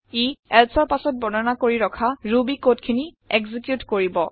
ই elseৰ পাছত বৰ্ণনা কৰি ৰখা ৰুবি কোড খিনি একজিকিউত কৰিব